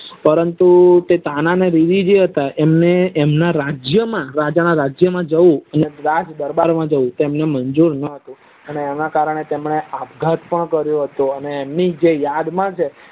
પરંતુ આ તાના અને રીરી જે હતા તમને એમના એમના રાજ્ય માં રાજા ના રાજ્ય માં જવું કે દરબાર માં જવું એમને મંજુર ન હતું અને એના કરણે એમને આભઘાત કરો હતો તમને યાદ માં છે